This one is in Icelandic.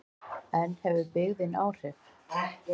En hefur byggðin áhrif?